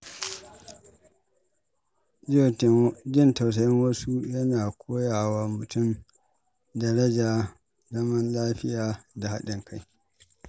Jin tausayin wasu yana koya wa mutum darajar zaman lafiya da haɗin kai.